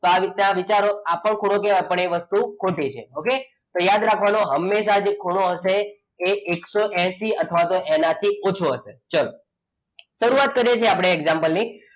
તો આ રીતના વિચારો આપણો ખૂણો જે આપણે એ વસ્તુ ખોટી છે. okay તો યાદ રાખવાનું હંમેશા જે ખૂણો હશે એ એકસો એસી અથવા તો તેનાથી ઓછો હશે ચલો શરૂઆત કરીએ છીએ આપણે example ની,